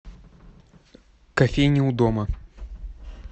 кофейня у дома